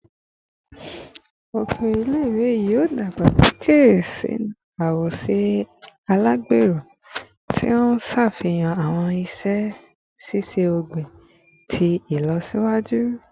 Oko ile-iwe yoo dagbasoke sinu awoṣe alagbero, ti n ṣafihan awọn iṣe iṣẹ-ogbin ti ilọsiwaju